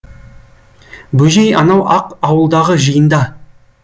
бөжей анау ақ ауылдағы жиында